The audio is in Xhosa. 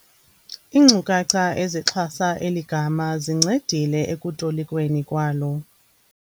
Iinkcukacha ezixhasa eli gama zincedile ekutolikweni kwalo.